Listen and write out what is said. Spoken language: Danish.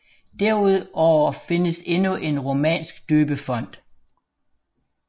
Derudover findes endnu en romansk døbefont